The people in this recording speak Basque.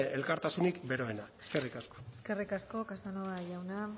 elkartasunik beroena eskerrik asko eskerrik asko casanova jauna